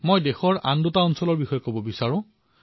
মই দেশৰ দুটা এলেকাৰ কথা কব বিচাৰিছো